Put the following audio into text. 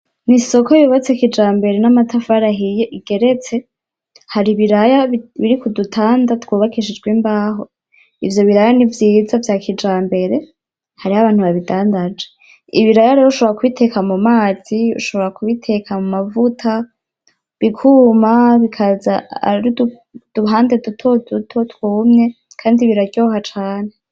N’isoko yubatse kijambere n’amatafari ahiye igeretse hari ibiraya biri ku dutanda twubakishijwe imbaho ivyo biraya nivyiza vya kijambere hariho abantu babidandaje. ibiraya rero ushobora kubiteka mu mazi ;ushobora kubiteka mu mavuta bikuma bikaza ari uduhande duto duto twumye kandi biraryoha cane.